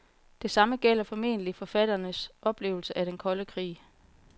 Det samme gælder formentlig forfatterens opfattelse af den kolde krig.